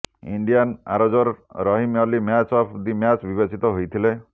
Indian ଆରୋଜର Rahim Ali man of the match ବିବେଚିତ ହୋଇଥିଲେ